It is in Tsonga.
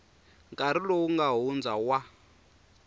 nkarhi lowu nga hundza wa